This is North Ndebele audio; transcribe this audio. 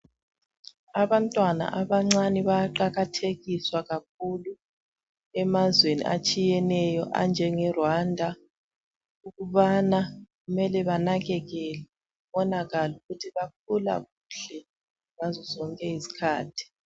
Abantwana abancane bayaqakathekiswa kakhulu emazweni atshiyeneyo anjenge"Rwanda" ukubana kumele banakekelwe kubonakale ukuthi bakhula kuhle ngazozonke izikhathi.